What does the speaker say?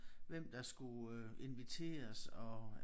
Hvem der skulle øh inviteres og